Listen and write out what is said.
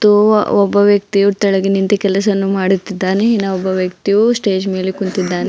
ಓವ ಒಬ್ಬ ವ್ಯಕ್ತಿಯು ತೆಳಗೆ ನಿಂತು ಕೆಲಸವನ್ನು ಮಾಡುತ್ತಿದ್ದಾನೆ ಇನ್ನೊಬ್ಬ ವ್ಯಕ್ತಿಯು ಸ್ಟೇಜ್ ಮೇಲೆ ಕುಂತಿದ್ದಾನೆ.